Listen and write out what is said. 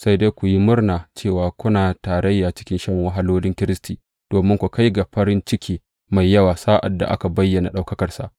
Sai dai ku yi murna cewa kuna tarayya cikin shan wahalolin Kiristi, domin ku kai ga farin ciki mai yawa sa’ad da aka bayyana ɗaukakarsa.